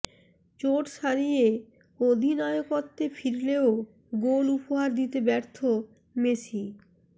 চোট সারিয়ে অধিনায়কত্বে ফিরলেও গোল উপহার দিতে ব্যর্থ মেসি